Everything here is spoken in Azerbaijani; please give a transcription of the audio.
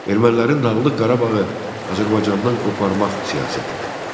Ermənilərin Dağlıq Qarabağı Azərbaycandan qoparmaq siyasəti.